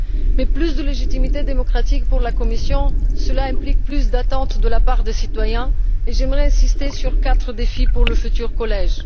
Mais plus de légitimité démocratique pour la Commission implique plus d'attentes de la part des citoyens et j'aimerais insister sur quatre défis pour le futur collège.